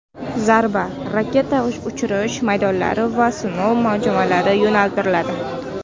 Zarba raketa uchirish maydonlari va sinov majmualariga yo‘naltiriladi.